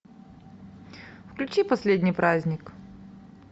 включи последний праздник